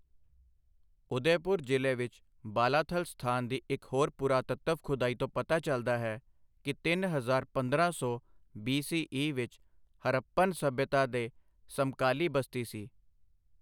ਉਦੈਪੁਰ ਜ਼ਿਲ੍ਹੇ ਵਿੱਚ ਬਾਲਾਥਲ ਸਥਾਨ ਦੀ ਇੱਕ ਹੋਰ ਪੁਰਾਤੱਤਵ ਖੁਦਾਈ ਤੋਂ ਪਤਾ ਚਲਦਾ ਹੈ ਕਿ ਤਿੰਨ ਹਜ਼ਾਰ ਪੰਦਰਾਂ ਸੌ ਬੀ. ਸੀ. ਈ. ਵਿੱਚ ਹਰਪਨ ਸੱਭਿਅਤਾ ਦੇ ਸਮਕਾਲੀ ਬਸਤੀ ਸੀ।